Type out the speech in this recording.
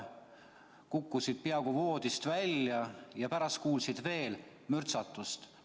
Sa kukkusid peaaegu voodist välja ja pärast kuulsid veel mürtsatust.